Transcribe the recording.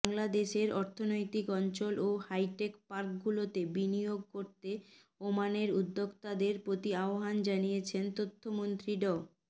বাংলাদেশের অর্থনৈতিক অঞ্চল ও হাইটেক পার্কগুলোতে বিনিয়োগ করতে ওমানের উদ্যোক্তাদের প্রতি আহ্বান জানিয়েছেন তথ্যমন্ত্রী ড